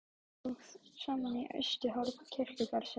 Gengu þau þá þrjú saman í austasta horn kirkjugarðsins.